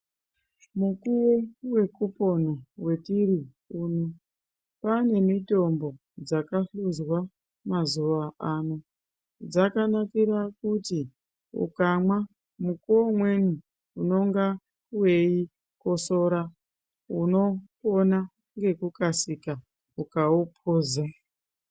Mukuwo wekupona wetiri uno kwane mitombo dzakahluzwa mazuwa ano. Dzakanakira kuti ukamwa mukuwo umweni unonga weikosora unopona ngekukasira ukauphuza.